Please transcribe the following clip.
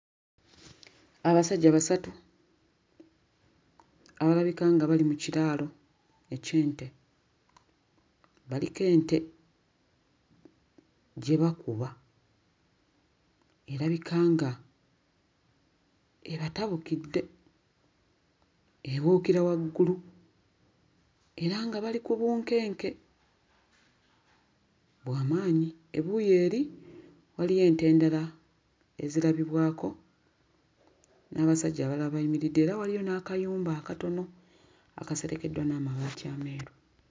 Abasajja basatu abalabika nga bali mu kiraalo eky'ente, baliko ente gye bakuba erabika nga ebatabukidde, ebuukira waggulu era nga bali ku bunkenke bw'amaanyi, ebuuyi eri waliyo ente endala ezirabibwako n'abasajja abalala abayimiridde era waliyo n'akayumba akatono akaserekeddwa n'amabaati ameeru.